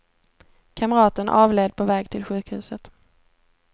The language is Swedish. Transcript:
Kamraten avled på väg till sjukhuset.